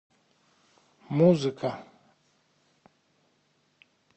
музыка